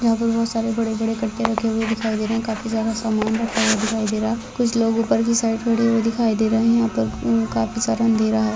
यहां पर बहुत सारे बड़े बड़े कट्टे रखे हुए दिखाई दे रहे है काफी सारा सामान रखा हुआ दिखाई दे रहा है कुछ लोग ऊपर की साइड खड़े हुए दिखाई दे रहे है यहां पर काफी सारा अँधेरा है।